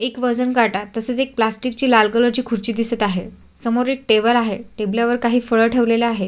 एक वजन काटा तसेच एक प्लॅस्टिक ची लाल कलर ची खुर्ची दिसत आहे समोर एक टेबल आहे टेबल वर काही फळे ठेवलेले आहे.